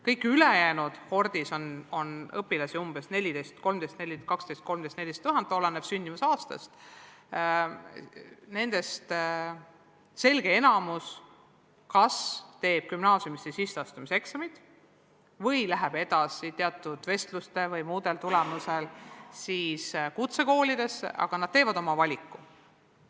Kõigist ülejäänutest – kohordis on õpilasi sünniaastast olenevalt umbes 12 000, 13 000, 14 000 – selge enamus teeb kas gümnaasiumisse sisseastumise eksamid või läheb teatud vestluste või muude katsete tulemusel kutsekooli, aga igal juhul teevad nad oma valiku.